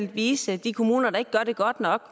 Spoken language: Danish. at vise de kommuner der ikke gør det godt nok